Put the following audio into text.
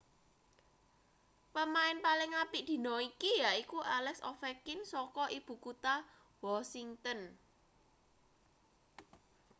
pemain paling apik dina iki yaiku alex ovechkin saka ibu kutha washington